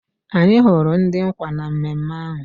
Anyị hụrụ ndị nkwa na mmemme ahụ